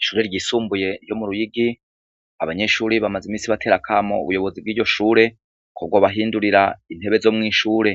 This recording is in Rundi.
Ishure ryisumbuye ryo mu ruyigi abanyeshure bamazimisi batera akamo ubuyobozi bwiryoshure ko bwobahindurira intebe zomwishure